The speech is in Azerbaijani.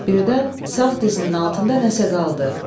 Birdən sağ dizinin altında nəsə qaldı.